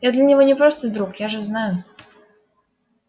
я для него не просто друг я же знаю